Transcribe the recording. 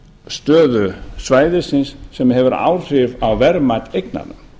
stöðu svæðisins sem hefur áhrif á verðmat eignanna